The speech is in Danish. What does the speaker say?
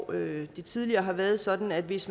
det har tidligere været sådan at hvis